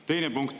Teine punkt.